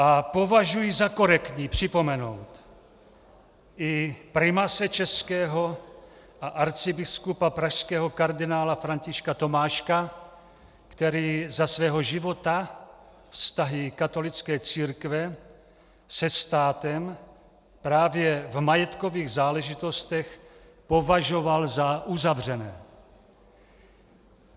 A považuji za korektní připomenout i primase českého a arcibiskupa pražského kardinála Františka Tomáška, který za svého života vztahy katolické církve se státem, právě v majetkových záležitostech považoval za uzavřené.